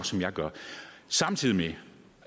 som jeg gør samtidig med